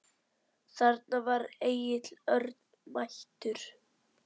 Þarna var Egill Örn mættur.